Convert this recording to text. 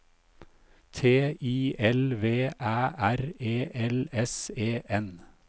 T I L V Æ R E L S E N